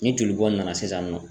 Ni joli bɔn na sisan nɔ.